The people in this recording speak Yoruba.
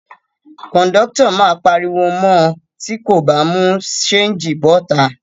Kòńdọ́tọ̀ máa pariwo mọ tí kò bá mú ṣéńjì bọ́ta